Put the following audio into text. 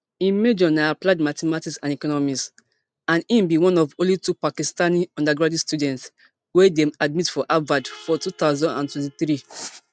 im major na applied mathematics and economics and im be one of only two pakistani undergraduate students wey dem admit for harvard for two thousand and twenty-three